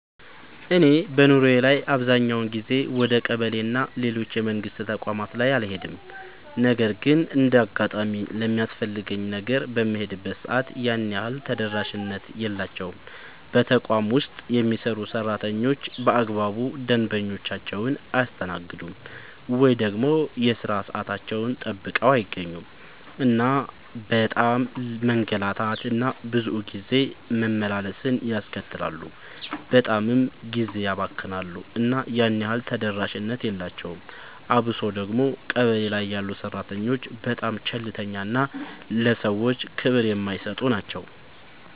እኔ በኑሮዬ ላይ አብዛኛውን ጊዜ ወደ ቀበሌ እና ሌሎች የመንግስት ተቋማት ላይ አልሄድም ነገር ግን እንደ አጋጣሚ ለሚያስፈልገኝ ነገር በምሄድበት ሰዓት ያን ያህል ተደራሽነት የላቸውም። በተቋም ውስጥ የሚሰሩ ሰራተኞች በአግባቡ ደንበኞቻቸውን አያስተናግዱም። ወይ ደግሞ የሥራ ሰዓታቸውን ጠብቀው አይገኙም እናም በጣም መንገላታት እና ብዙ ጊዜ መመላለስን ያስከትላሉ በጣምም ጊዜ ያባክናሉ እና ያን ያህል ተደራሽነት የላቸውም። አብሶ ደግሞ ቀበሌ ላይ ያሉ ሰራተኞች በጣም ቸልተኛ እና ለሰዎች ክብር የማይሰጡ ናቸው።